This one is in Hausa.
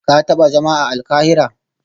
Ka taba zama a Alkahira?